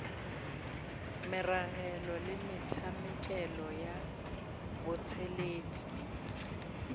meragelo le metšhakelo ya botšweletši